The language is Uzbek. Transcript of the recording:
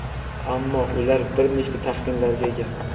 ammo ular bir nechta taxminlarga ega.